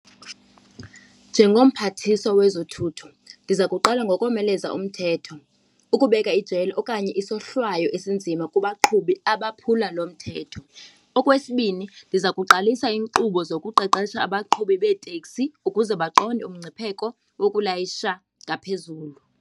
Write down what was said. Njengomphathiswa wezothutho ndiza kuqala ngokomeleza umthetho, ukubeka ijele okanye isohlwayo esinzima kubaqhubi abaphula lo mthetho. Okwesibini ndiza kuqalisa iinkqubo zokuqeqesha abaqhubi beetekisi ukuze baqonde umngcipheko wokulayisha ngaphezulu.